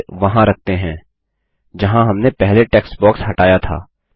इसे वहां रखते हैं जहाँ हमने पहले टेक्स्ट बॉक्स हटाया था